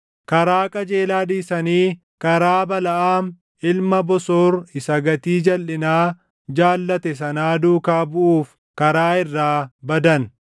Karaa qajeelaa dhiisanii karaa Balaʼaam ilma Bosoor isa gatii jalʼinaa jaallate sanaa duukaa buʼuuf karaa irraa badan.